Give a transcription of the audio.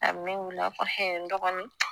A be ne wele a b'a fɔ ɛɛ n dɔgɔnin